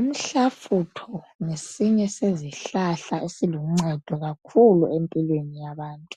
Umhlafutho ngesinye sezihlahla esiluncedo kakhulu empilweni yabantu